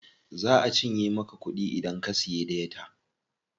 Za a cinye maka kuɗi idan ka siya data.